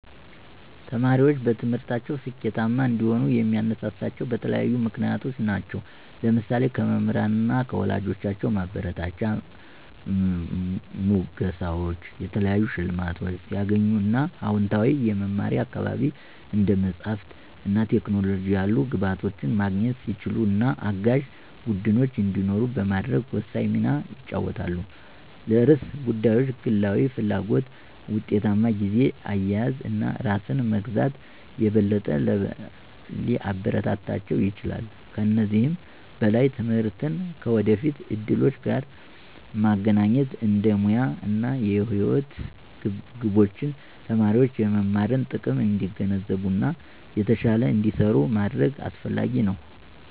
ተማሪዎች በትምህርታቸው ስኬታማ እንዲሆኑ የሚያነሳሳቸው በተለያዩ ምክንያቶች ናቸው። ለምሳሌ:- ከመምህራን እና ከወላጆች ማበረታቻ፣ ሙገሳወች፣ የተለያዩ ሸልማቶች ሲያገኙ እና አወንታዊ የመማሪያ አካባቢ፣ እንደ መጽሐፍት እና ቴክኖሎጂ ያሉ ግብዓቶችን ማግኘት ሲችሉ እና አጋዥ ቡድኖች እንዲኖሩ በማድረግ ወሳኝ ሚና ይጫወታል። ለርዕሰ ጉዳዮች ግላዊ ፍላጎት፣ ውጤታማ ጊዜ አያያዝ እና ራስን መግዛት የበለጠ ሊያበረታታቸው ይችላል። ከዚህም በላይ ትምህርትን ከወደፊት እድሎች ጋር ማገናኘት እንደ ሙያ እና የህይወት ግቦች ተማሪዎች የመማርን ጥቅም እንዲገነዘቡ እና የተሻለ እንዲሰሩ ማድረግ አሰፍላጊ ነው።